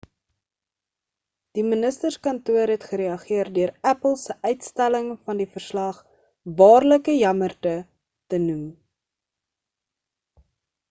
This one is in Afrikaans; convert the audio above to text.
die ministerskantoor het gereageer deur apple se uitstelling van die verslag waarlik 'n jammerte te noem